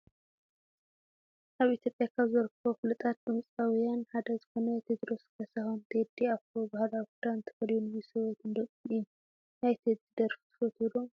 ኣብ ኢትዮጵያ ካብ ዝርከቡ ፉሉጣት ድምፃዊያን ሓደ ዝኮነ ቴድሮስ ካሳሁን /ቴዲ ኣፍሮ/ ባህላዊ ክዳን ተከዲኒ ምስ ሰበይቱን ደቁን እዩ። ናይ ቴዲ ደርፊ ትፈትው ዶ ?